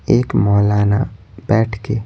एक मौलाना बैठ के--